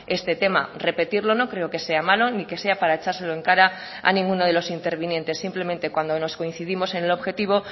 este tema repetirlo no creo que sea malo ni que sea para echárselo en cara a ninguno de los intervinientes simplemente cuando nos coincidimos en el objetivo